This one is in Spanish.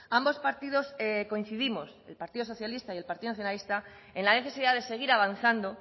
ambos partidos coincidimos el partido socialista y el partido nacionalista en la necesidad de seguir avanzando